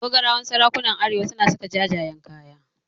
Dogarawan sarakunan arewa suna saka jajayen kaya.